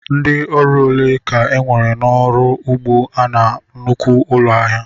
Ndị ọrụ ole ka enwere n'ọrụ ugbu a na nnukwu ụlọ ahịa?